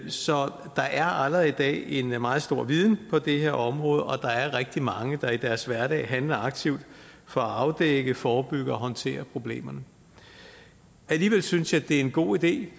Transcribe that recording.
så der er allerede i dag en meget stor viden på det her område og der er rigtig mange der i deres hverdag handler aktivt for at afdække forebygge og håndtere problemerne alligevel synes jeg det er en god idé